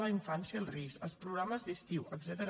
la infància en risc els programes d’estiu etcètera